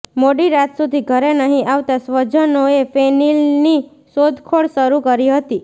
મોડી રાત સુધી ઘરે નહીં આવતાં સ્વજનોએ ફેનિલની શોધખોળ શરૂ કરી હતી